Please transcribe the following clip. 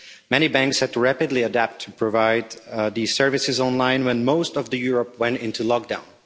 Many banks had to rapidly adapt to provide these services online when most of Europe went into lockdown.